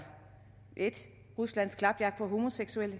ruslands klapjagt på homoseksuelle